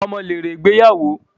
Ọmọ lèrè ìgbéyàwó